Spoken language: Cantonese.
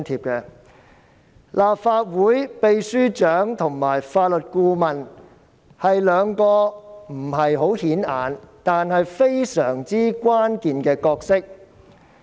雖然立法會秘書處秘書長及法律顧問是兩個不太顯眼的職位，但他們擔當着非常關鍵的角色。